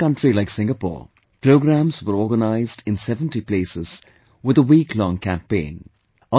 In a small country like Singapore, programs were organised in 70 places, with a week long campaign